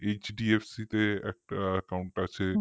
আমার HDFC তে একটা account আছে